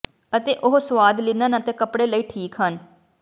ਅਤੇ ਉਹ ਸੁਆਦ ਲਿਨਨ ਅਤੇ ਕੱਪੜੇ ਲਈ ਠੀਕ ਹਨ